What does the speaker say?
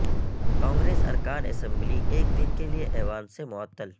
کانگریس ارکان اسمبلی ایک دن کے لئے ایوان سے معطل